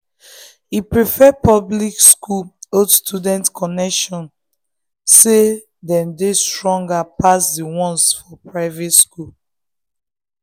e prefer public school old student connection say dem dey stronger pass the ones for private school